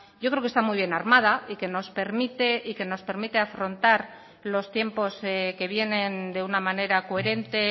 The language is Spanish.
yo creo que está muy bien armada y que nos permite afrontar los tiempos que vienen de una manera coherente